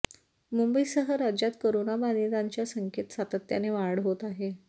मुंबईसह राज्यात करोना बाधितांच्या संख्येत सातत्याने वाढ होत आहे